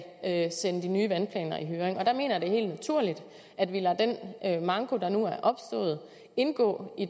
sende de nye vandplaner i høring og der mener jeg det er helt naturligt at vi lader den manko der nu er opstået indgå i